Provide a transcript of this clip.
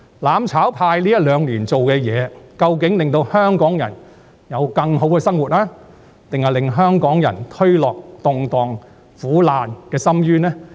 "攬炒派"在這一兩年所做的事情，究竟是令香港人有更好的生活，抑或是把香港人推落動盪和苦難的深淵呢？